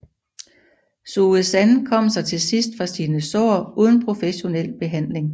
Suesan kom sig til sidst fra sine sår uden professionel behandling